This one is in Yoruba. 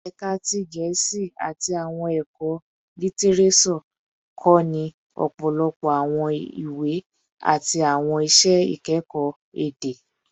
Ẹka ti Gẹẹsi ati Awọn ẹkọ Litireso kọni ọpọlọpọ awọn iwe-iwe ati awọn iṣẹ ikẹkọ ede